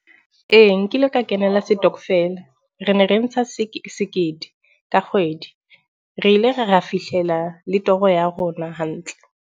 Ee, nkile ka kenela setokofela. Re ne re ntsha sekete ka kgwedi. Re ile ra ra fihlela le toro ya rona hantle.